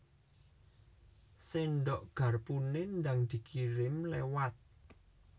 Sendok garpune ndang dikirim lewat